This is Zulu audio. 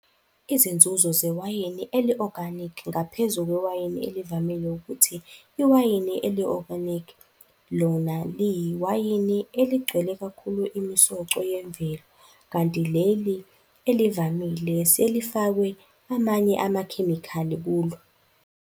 Izinzuzo zewayini eli-oganikhi ngaphezu kwewayini elivamile, ukuthi iwayini eli-oganikhi lona liyiwani eligcwele kakhulu imisoco yemvelo kanti leli elivamile selifakwe amanye amakhemikhali kulo.